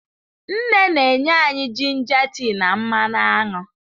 Nne na-enye anyị jinja tea na mmanụ aṅụ.